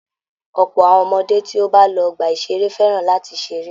Ọ̀pọ̀ àwọn ọmọdé tí ó bá lọ ọgbà-ìṣeré fẹràn láti ṣe eré.